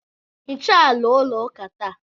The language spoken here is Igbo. hichaa ala ụlọ ụka taa